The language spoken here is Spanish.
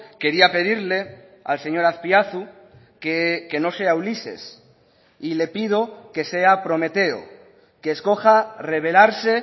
quería pedirle al señor azpiazu que no sea ulises y le pido que sea prometeo que escoja revelarse